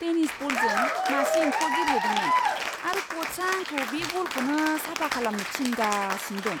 Tennis बलजों मासे एम्फौआ गेब्लेदोंमोन आरो क'चआ आंखौ बे बलखौनो साफा खालामनो थिनगासिनो दं।